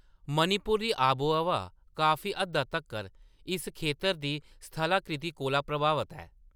मणिपुर दी आबोहवा काफी हद्दा तक्कर इस खेतर दी स्थलाकृति कोला प्रभावत ऐ।